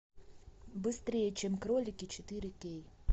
быстрее чем кролики четыре кей